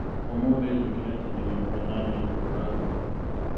ũmũthĩ njũkĩrire tene nĩguo nyambie kũhũra nguo.